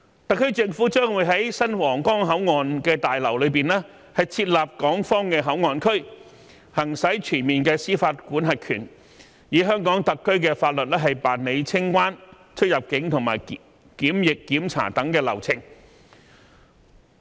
特區政府將會在新皇崗口岸大樓內設立港方口岸區，行使全面司法管轄權，以香港特區法律辦理清關、出入境及檢疫檢查等流程。